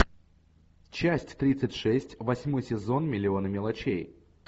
часть тридцать шесть восьмой сезон миллионы мелочей